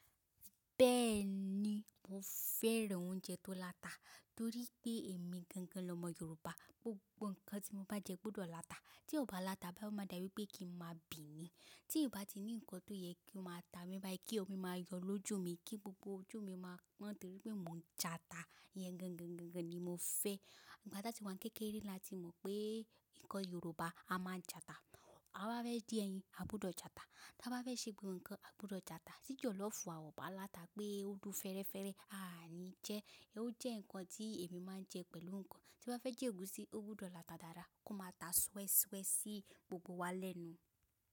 Bẹ́ẹ̀ni, mo fẹ́ràn oúnjẹ tó láta torí pé èmi gangan l'ọmọ Yorùbá. GBogbo nkan tí mo bá jẹ gbọdọ̀ láta. Tí ò bá láta bá o máa dàbí pé kí n máa bì ni. Tí ì bá ti ní nǹkan tó yẹ kí ó máa ta mi bá yí kí omi máa yọ lójú mi kí gbogbo ojú mi máa pọn torí pé mò ń já'ta. Iyẹn gangan ni mo fẹ́. Ìgbà ta ti wá ń kékeré la tí mọ̀ pé nǹkan Yorùbá a máa ń já'ta. A bá fẹ́ jẹ ẹyin, a gbudọ̀ já ata. Bá fẹ́ ṣe gbogbo nǹkan, a gbọdọ̀ já ata. Tí jọ̀lọ́fùú wa o bá láta pé ó dùn fẹ́ẹ́rẹ́fẹ́, a àní jẹ. Ó jẹ́ nǹkan tí èmi máa ń jẹ pẹ̀lú nǹkan. Tí n ba fẹ́ jẹ́ ègúsí, ó gbudọ̀ láta dáadáa kó máa ta swẹ́ṣuẹ́ ṣí gbogbo wa lẹ́nu.